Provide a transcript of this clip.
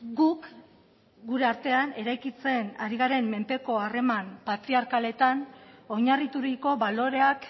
guk gure artean eraikitzen ari garen menpeko harreman patriarkaletan oinarrituriko baloreak